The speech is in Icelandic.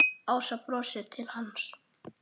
Ása brosir til hans.